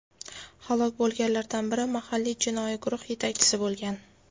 Halok bo‘lganlardan biri mahalliy jinoiy guruh yetakchisi bo‘lgan.